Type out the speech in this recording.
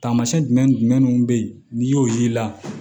Taamasiyɛn jumɛn ni jumɛnw bɛ yen n'i y'o y'i la